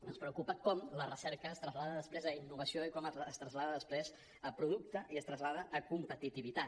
ens preocupa com la recerca es trasllada després a innovació i com es trasllada després a producte i es trasllada a competitivitat